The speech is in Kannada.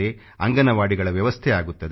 ಅಂಗನವಾಡಿಗಳ ವ್ಯವಸ್ಥೆ ಆಗುತ್ತದೆ